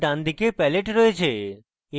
এখানে ডানদিকে palette রয়েছে